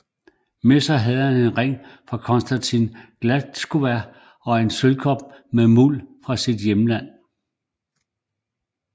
Med sig havde han en ring fra Konstancja Gładkowska og en sølvkop med muld fra sit hjemland